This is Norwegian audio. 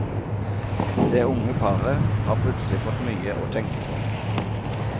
Det unge paret har plutselig fått mye å tenke på.